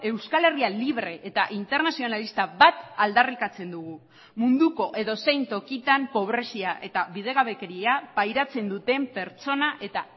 euskal herria libre eta internazionalista bat aldarrikatzen dugu munduko edozein tokitan pobrezia eta bidegabekeria pairatzen duten pertsona eta